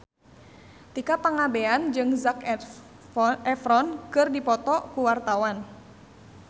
Tika Pangabean jeung Zac Efron keur dipoto ku wartawan